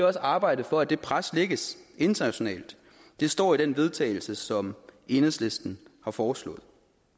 også arbejde for at det pres lægges internationalt det står i den vedtagelse som enhedslisten har foreslået